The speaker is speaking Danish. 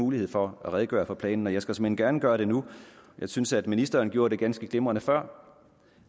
mulighed for at redegøre for planen jeg skal såmænd gerne gøre det nu og jeg synes at ministeren gjorde det ganske glimrende før